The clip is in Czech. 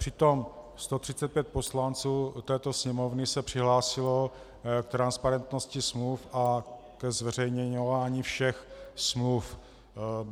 Přitom 135 poslanců této Sněmovny se přihlásilo k transparentnosti smluv a ke zveřejňování všech smluv.